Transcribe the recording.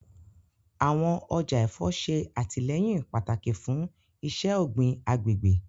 Awọn ọja ẹfọ ṣe atilẹyin pataki fun iṣẹ-ogbin agbegbe